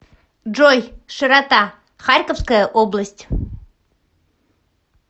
джой широта харьковская область